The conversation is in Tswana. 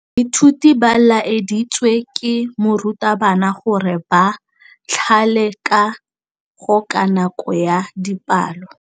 Baithuti ba laeditswe ke morutabana gore ba thale kagô ka nako ya dipalô.